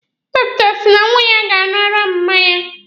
Dọkịta si na nwa ya ga-aṅụ ara mma ya.